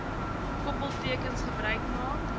koppeltekens gebruik gemaak